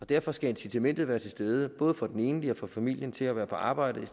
derfor skal incitamentet være til stede både for den enlige og for familien til at være på arbejde i